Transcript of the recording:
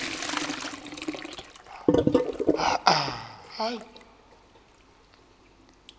yeyerusalem